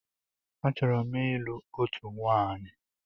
Achọrọ m ịlụ òtù nwaanyi.